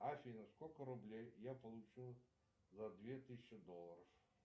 афина сколько рублей я получу за две тысячи долларов